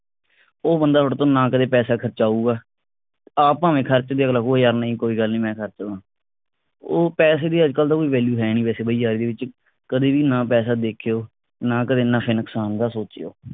ਉਹ ਬੰਦਾ ਤੁਹਾਡੇ ਤੋਂ ਨਾ ਕਰੇ ਪੈਸਾ ਖਰਚਾ ਹੋਉਗਾ ਆਪ ਭਾਵੇ ਖਰਚਦੇ ਰਹੋ ਯਾਰ ਨਹੀ ਕੋਈ ਗੱਲ ਨਹੀ ਮੈਂ ਖਰਚਦਾ ਉਹ ਪੈਸੇ ਦੀ ਅੱਜਕਲ ਤਾਂ ਕੋਈ value ਹੈ ਨਹੀ ਵੈਸੇ ਬਈਆ ਇਹਦੇ ਵਿਚ ਕਦੇ ਵੀ ਨਾ ਪੈਸਾ ਦੇਖਿਉ ਨਾ ਕਦੇ ਨਫੇ ਨੁਕਸਾਨ ਦਾ ਸੋਚਿਓ